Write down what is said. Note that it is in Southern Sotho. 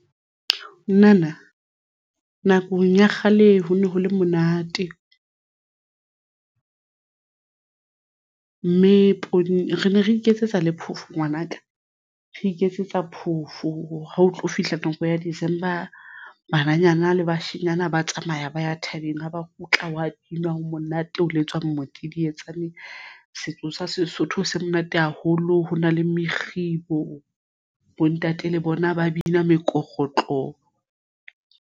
Nnana nakong ya kgale ho ne ho le monate mme poone re ne re iketsetsa le phofu ngwanaka re iketsetsa phofo ha o tlo fihla nako ya December bananyana le bashenyana ba tsamaya ba ya thabeng ha ba kgutla wa binwa ho monate ho le tswang modidietsane setso sa Sesotho se monate haholo ho na le mokgibo. Bontate le bona ba bina mekorotlo.